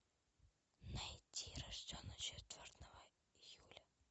найти рожденный четвертого июля